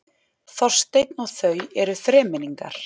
Þorsteinn og þau eru þremenningar.